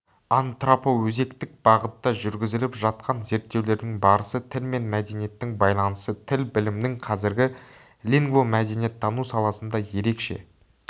антропоөзектік бағытта жүргізіліп жатқан зерттеулердің барысы тіл мен мәдениеттің байланысы тіл білімінің қазіргі лингвомәдениеттану саласында ерекше